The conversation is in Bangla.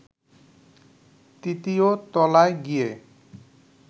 তৃতীয় তলায় গিয়ে